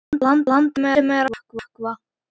Landi sem er að sökkva.